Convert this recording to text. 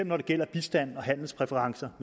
når det gælder bistand og handelspræferencer